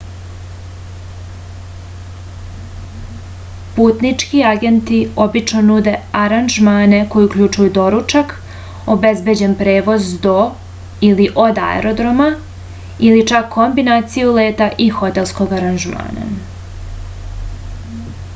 путнички агенти обично нуде аранжмане који укључују доручак обезбеђен превоз до/од аеродрома или чак комбинацију лета и хотелског аранжмана